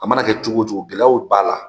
A mana kɛ cogo cogo gɛlɛyaw b'a la